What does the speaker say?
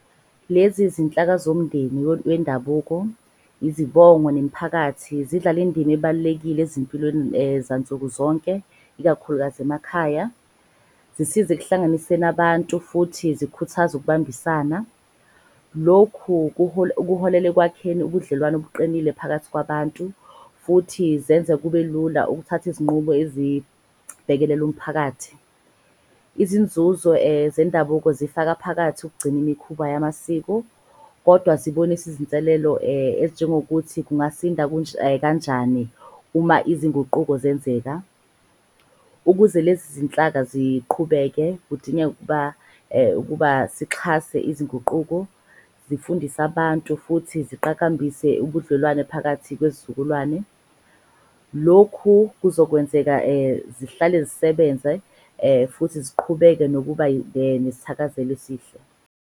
Lezi zinhlaka zomndeni wendabuko, izibongo nemiphakathi, zidlala indima ebalulekile ezimpilweni zansukuzonke ikakhulukazi emakhaya. Zisize ekuhlanganiseni abantu futhi zikhuthaze ukubambisana. Lokhu kuholela ekwakheni ubudlelwano obuqinile phakathi kwabantu futhi zenze kube lula ukuthatha izinqumo ezibhekelela umphakathi. Izinzuzo zendabuko zifaka phakathi ukugcina imikhuba yamasiko, kodwa zibonise izinselelo ezinjengokuthi kungasinda kanjani uma izinguquko zenzeka. Ukuze lezi zinhlaka ziqhubeke, kudingeka ukuba ukuba sixhase izinguquko, zifundise abantu futhi ziqakambise ubudlelwane phakathi kwezizukulwane. Lokhu kuzokwenzeka zihlale zisebenze futhi ziqhubeke nokuba nesithakazelo esihle.